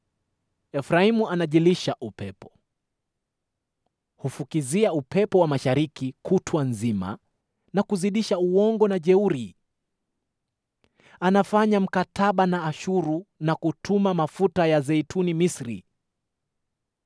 Efraimu anajilisha upepo; hufukuzia upepo wa mashariki kutwa nzima na kuzidisha uongo na jeuri. Anafanya mkataba na Ashuru na kutuma mafuta ya zeituni Misri.